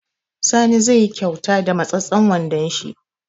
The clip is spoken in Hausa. Sani zai yi kauta da matseten wondon shi